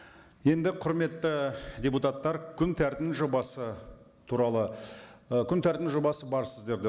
енді құрметті депутаттар күн тәртібінің жобасы туралы і күн тәртібінің жобасы бар сіздерде